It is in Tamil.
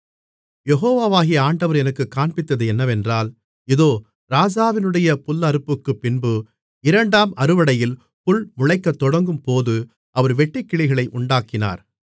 யெகோவாகிய ஆண்டவர் எனக்குக் காண்பித்தது என்னவென்றால் இதோ ராஜாவினுடைய புல்லறுப்புக்குப்பின்பு இரண்டாம் அறுவடையில் புல் முளைக்கத் தொடங்கும்போது அவர் வெட்டுக்கிளிகளை உண்டாக்கினார்